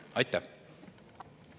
Aitäh!